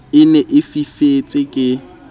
e ne e fifetse ke